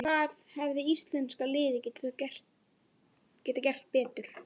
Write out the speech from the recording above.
En hvað hefði íslenska liðið geta gert betur?